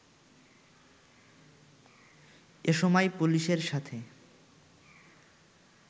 এসময় পুলিশের সাথে